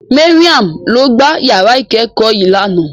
Mariam ló gbá yàrá ìkẹ́kọ̀ọ́ yìí lánàá.